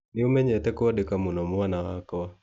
Nĩ ũmenyete kwandĩka mũno mwana wakwa.